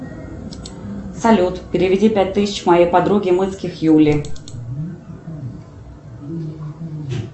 салют переведи пять тысяч моей подруге мынских юле